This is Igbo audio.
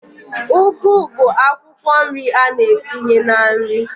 Ugu bụ akwụkwọ nri a na-etinye na nri